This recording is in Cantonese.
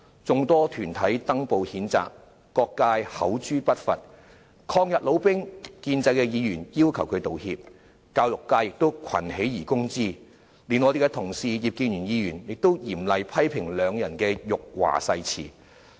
眾多團體登報譴責，各界口誅筆伐，抗日老兵、建制議員要求他們道歉，教育界亦群起而攻之，連我們的同事葉建源議員都嚴厲批評兩人的辱華誓詞。